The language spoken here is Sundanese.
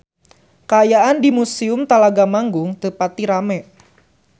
Kaayaan di Museum Talaga Manggung teu pati rame